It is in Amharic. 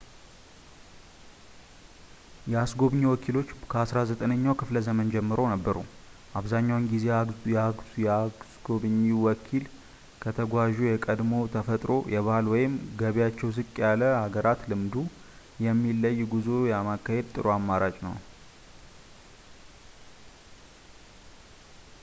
የአስጐብኚ ወኪሎች ከ19ኛው ክፍለዘመን ጀምሮ ነበሩ አብዛኛውን ጊዜ የአስጐብኚ ወኪል ከተጓዡ የቀድሞ የተፈጥሮ የባህል ወይም ገቢያቸው ዝቅ ያለ ሀገራት ልምዱ የሚለይ ጉዞ ለማካሄድ ጥሩ አማራጭ ነው